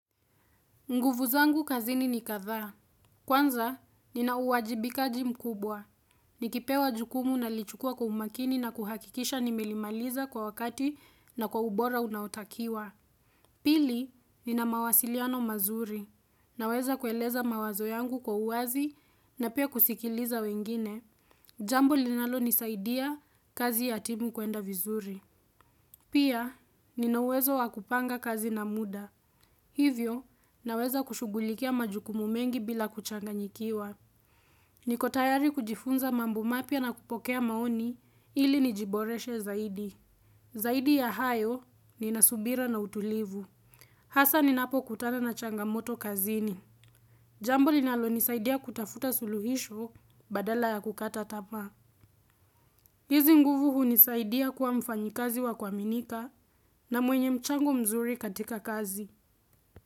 Nguvu zangu kazini ni kadhaa. Kwanza, nina uwajibikaji mkubwa. Nikipewa jukumu nalichukua kwa umakini na kuhakikisha nimelimaliza kwa wakati na kwa ubora unaotakiwa. Pili, nina mawasiliano mazuri. Naweza kueleza mawazo yangu kwa uwazi na pia kusikiliza wengine. Jambo linalonisaidia kazi ya timu kuenda vizuri. Pia, ninauwezo wakupanga kazi na muda. Hivyo, naweza kushugulikia majukumu mengi bila kuchanganyikiwa. Nikotayari kujifunza mambo mapya na kupokea maoni ili nijiboreshe zaidi. Zaidi ya hayo ninasubira na utulivu. Hasa ninapo kutana na changamoto kazini. Jambo linalonisaidia kutafuta suluhisho badala ya kukata tama. Hizi nguvu hunisaidia kuwa mfanyikazi wa kuaminika na mwenye mchango mzuri katika kazi.